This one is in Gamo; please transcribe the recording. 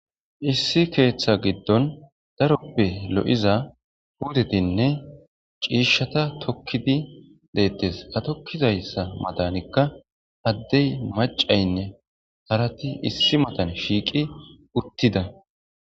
issi keeththa giddon daroppe lo7iza hudetinne ciishshata tokkidi deettes atokkizayssa madanikka haddey macaynne harati issi matan shiiqi uttida